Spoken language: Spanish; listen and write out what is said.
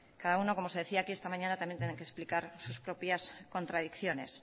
cada uno como se decía aquí esta mañana también tendrá que explicar sus propias contradicciones